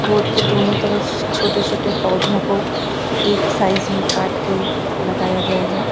Road के दोनों तरफ छोटे छोटे पौधों को एक साइज में काट के लगाया गया है।